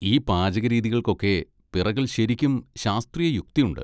ഈ പാചകരീതികൾക്കൊക്കെ പിറകിൽ ശരിക്കും ശാസ്ത്രീയയുക്തി ഉണ്ട്.